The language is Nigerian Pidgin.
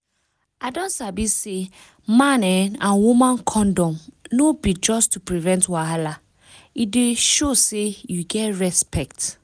i don sabi say man[um]and woman condom no be just to prevent wahala e dey show say you get respect